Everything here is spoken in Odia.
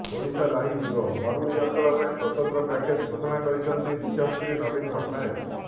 ଓଡ଼ିଶାଲାଇଭ୍ ବ୍ୟୁରୋ ମରୁଡ଼ି ଅଞ୍ଚଳ ପାଇଁ ସ୍ବତନ୍ତ୍ର ପ୍ୟାକେଜ ଘୋଷଣା କରିଛନ୍ତି ମୁଖ୍ୟମନ୍ତ୍ରୀ ନବୀନ ପଟ୍ଟନାୟକ